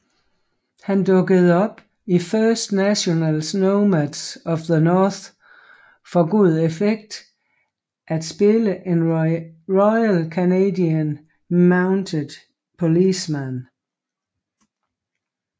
Han dukkede op i First Nationals Nomads of the North for god effekt at spille en Royal Canadian Mounted Policeman